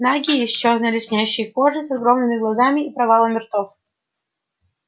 нагие с чёрной лоснящейся кожей с огромными глазами и провалами ртов